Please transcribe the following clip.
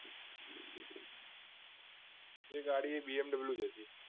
એ ગાડી BMW જ હતી